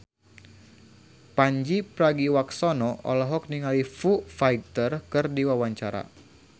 Pandji Pragiwaksono olohok ningali Foo Fighter keur diwawancara